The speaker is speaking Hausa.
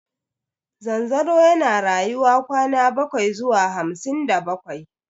Zanzaro yana rayuwa kwana bakwai zuwa hamsin da bakwai.